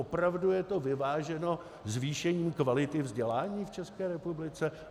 Opravdu je to vyváženo zvýšením kvality vzdělání v České republice?